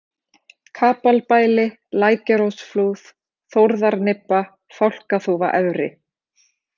Kapalbæli, Lækjarósflúð, Þórðarnibba, Fálkaþúfa efri